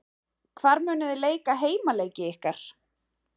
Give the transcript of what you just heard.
Hvar munið þið leika heimaleiki ykkar?